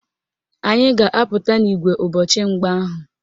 Anyị ga-apụta n'ìgwè ụbọchị mgba ahụ